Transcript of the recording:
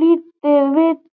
lítið vitað.